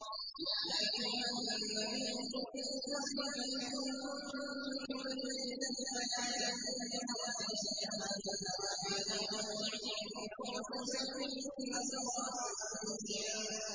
يَا أَيُّهَا النَّبِيُّ قُل لِّأَزْوَاجِكَ إِن كُنتُنَّ تُرِدْنَ الْحَيَاةَ الدُّنْيَا وَزِينَتَهَا فَتَعَالَيْنَ أُمَتِّعْكُنَّ وَأُسَرِّحْكُنَّ سَرَاحًا جَمِيلًا